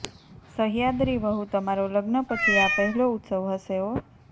સહ્યાદ્રી વહુ તમારો લગ્ન પછી આ પહેલો ઉત્સવ હશે હોં